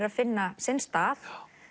að finna sinn stað